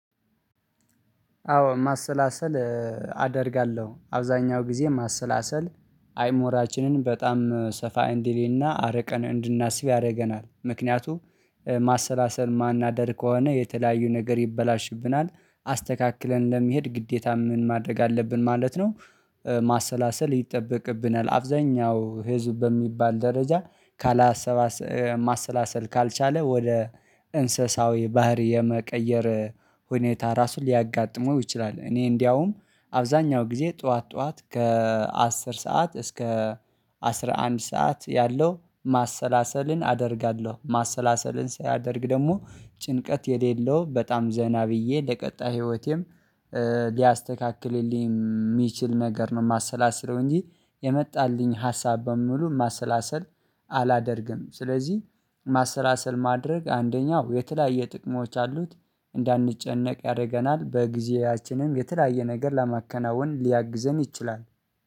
አዎ ማሰላሰል አደርጋለሁ አብዛኛው ጊዜ ማሰላሰል አይሞራችንን በጣም ሰፋ እንዲልና አረቀን እንድናስብ ያደርገናል ምክንያቱም ማሰላሰል የማናደር ከሆነ የተለያዩ ነገር ይበላሽብናል አስተካክለን ለመሄድ ግዴታ ምን ማድረግ አለብን ማለት ነው። ማሰላሰል ይጠበቅብናል አብዛኛው ህዝብ በሚባል ደረጃ ካላሰባሰ ማሰላሰል ካልቻለ ወደ እንስሳዊ ባህሪ የመቀየር ሁኔታ ራሱን ሊያጋጥመው ይችላል እኔ እንደውም አብዛኛው ጊዜ ጠዋት ጠዋት ከአስር ሰዓት እስከ አስራ አንድ ሰዓት ያለው ማሰላሰልን አደርጋለሁ። ማሰላሰልን ሳደርግ ደግሞ ጭንቀት የሌለው በጣም ዘና ብዬ ለቀጣይ ህይወቴም ሊያስተካክልልኝ የሚችል ነገር ነው። የማሰላስለው እንጂ የመጣልኝ ሀሳብ በሙሉ ማሰላሰል አላደርግም ስለዚህ ማሰላሰል ማድረግ አንደኛው የተለያየ ጥቅሞች አሉት እንዳንጨነቅ ያደርገናል ጊዜያችንም የተለያየ ነገር ለማከናወን ሊያግዘን ይችላል።